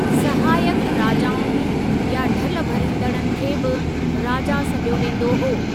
सहायक राजाउनि या ढल भरींदड़नि खे बि राजा सॾियो वेंदो हो।